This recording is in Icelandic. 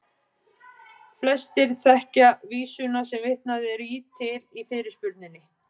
Flestir þekkja vísuna sem vitnað er til í fyrirspurninni.